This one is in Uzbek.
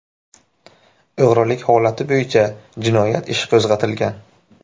O‘g‘rilik holati bo‘yicha jinoyat ishi qo‘zg‘atilgan.